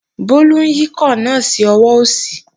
Bólú ń yíkọ̀ náà sí ọwọ́ òsì